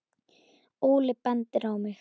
Óli bendir á mig